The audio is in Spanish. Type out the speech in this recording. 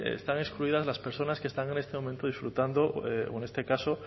están excluidas las personas que están en este momento disfrutando o en este caso